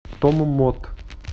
томмот